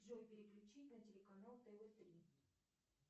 джой переключи на телеканал тв три